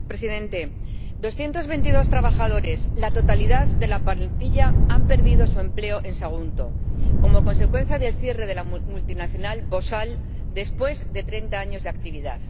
Señor Presidente, 222 trabajadores —la totalidad de la plantilla— han perdido su empleo en Sagunto como consecuencia del cierre de la multinacional Bosal después de treinta años de actividad.